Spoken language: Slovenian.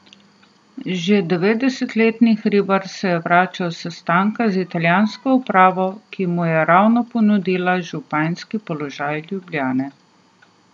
Že devetdesetletni Hribar se je vračal s sestanka z italijansko upravo, ki mu je ravno ponudila županski položaj Ljubljane.